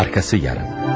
Arxası yarım.